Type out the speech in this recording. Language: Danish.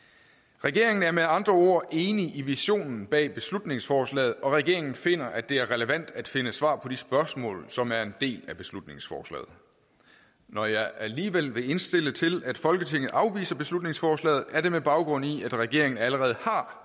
regeringen er med andre ord enig i visionen bag beslutningsforslaget og regeringen finder at det er relevant at finde svar på de spørgsmål som er en del af beslutningsforslaget når jeg alligevel vil indstille til at folketinget afviser beslutningsforslaget er det med baggrund i at regeringen allerede